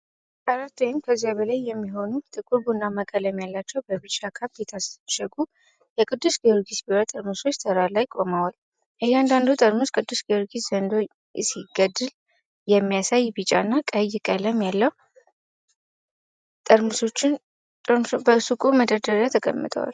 አራት ወይም ከዚያ በላይ የሚሆኑ፣ ጥቁር ቡናማ ቀለም ያላቸውና በቢጫ ካፕ የታሸጉ የቅዱስ ጊዮርጊስ ቢራ ጠርሙሶች ተራ ላይ ቆመው፣ እያንዳንዱ ጠርሙስ ቅዱስ ጊዮርጊስ ዘንዶ ሲገድል የሚያሳይ ቢጫ እና ቀይ መለያ አለው። ጠርሙሶቹ በሱቅ መደርደሪያ ተቀምጠዋል።